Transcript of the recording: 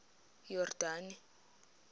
yordane